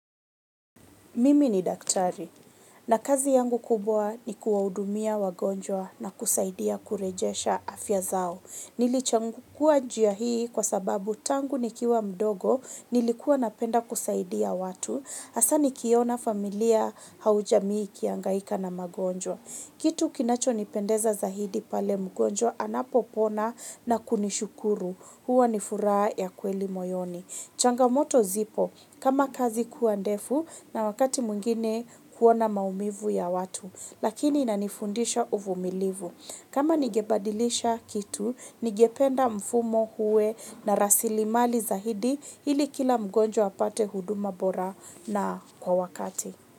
Mimi ni daktari, na kazi yangu kubwa ni kuwahudumia wagonjwa na kusaidia kurejesha afya zao. Nilichagua njia hii kwa sababu tangu nikiwa mdogo, nilikuwa napenda kusaidia watu, hasa nikiona familia au jamii ikihangaika na magonjwa. Kitu kinachonipendeza zaidi pale mgonjwa anapopona na kunishukuru, huwa ni furaha ya kweli moyoni. Changamoto zipo, kama kazi kuwa ndefu na wakati mwingine kuona maumivu ya watu, lakini inanifundisha uvumilivu. Kama ningebadilisha kitu, ningependa mfumo uwe na rasilimali zaidi ili kila mgonjwa apate huduma bora na kwa wakati.